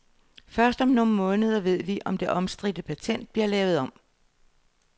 Først om nogle måneder ved vi, om det omstridte patent bliver lavet om.